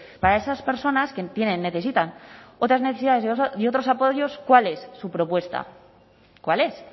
para esas personas que tienen necesitan otras necesidades y otros apoyos cuál es su propuesta cuál es